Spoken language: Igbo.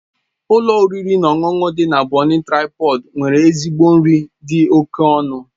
Ụlọ oriri na ọṅụṅụ dị na Bon Traịpọd nwere ezigbo nri dị oke ọnụ.